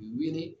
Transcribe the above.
U wele